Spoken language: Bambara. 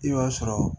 I b'a sɔrɔ